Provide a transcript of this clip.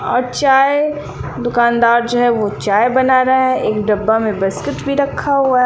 और चाय दुकानदार जो है वह चाय बना रहा है एक डब्बा में बिस्किट भी रखा हुआ है।